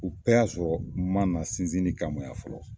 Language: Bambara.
U bɛɛ y'a sɔrɔ, n mana sinsinni kama yan fɔlɔ